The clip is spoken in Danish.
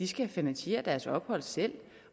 skal finansiere deres ophold selv